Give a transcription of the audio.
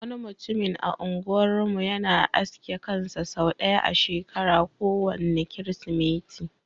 Wani mutumin a unguwar mu yana aske kansa sau ɗaya a shekara, ko wanne kirismeti.